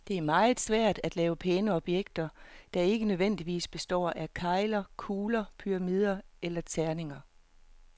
Det er meget svært at lave pæne objekter, der ikke nødvendigvis består af kegler, kugler, pyramider eller terninger.